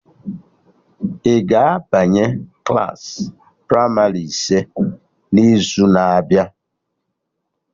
Ị ga-abanye Klassị pramarị ise n'izu na abịa?